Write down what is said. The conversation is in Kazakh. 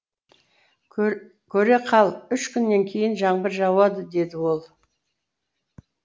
көре қал үш күннен кейін жаңбыр жауады деді ол